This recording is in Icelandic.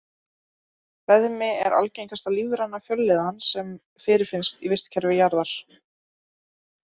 Beðmi er algengasta lífræna fjölliðan sem fyrirfinnst í vistkerfi jarðar.